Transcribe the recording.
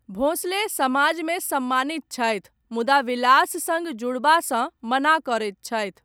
भोंसले समाजमे सम्मानित छथि, मुदा विलास सङ्ग जुड़बासँ, मना करैत छथि।